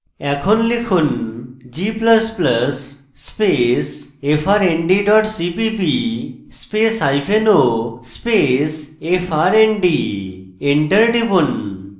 এখন লিখুন g++ space frnd dot cpp space o space frnd enter টিপুন